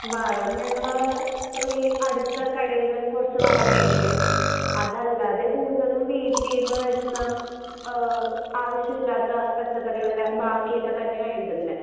വളം ഞങ്ങള് ഈ അടുത്ത കടേന്ന് കൊറച്ച് വളം മേടിക്കും. അതല്ലാതെ കൂടുതലും വീട്ടീന്ന് വരുന്ന ആഹ് ആവശ്യ ഇല്ലാത്ത പച്ചക്കറികളുടെ ബാക്കിയൊക്കെയാ തന്നെയാ ഇടുന്നെ.